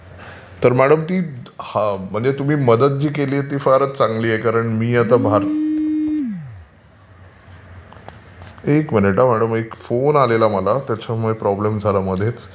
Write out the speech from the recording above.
तर मॅडम तुम्ही मदत जी केलीय ती फारच चांगली आहे कारण मी आता भारतात .... एक मिनिट हा मॅडम एक फोन आलेला मला त्याच्यामुळे प्रॉब्लेम झाला मध्येच.